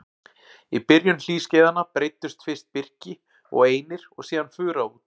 Í byrjun hlýskeiðanna breiddust fyrst birki og einir og síðan fura út.